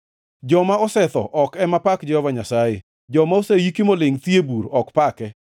Joma osetho ok ema pak Jehova Nyasaye, joma oseiki molingʼ thi e bur ok pake;